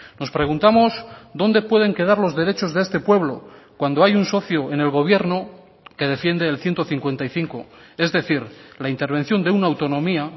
nos preguntamos dónde pueden quedar los derechos de este pueblo cuando hay un socio en el gobierno que defiende el ciento cincuenta y cinco es decir la intervención de una autonomía